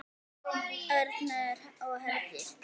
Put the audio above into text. Örn og Herdís.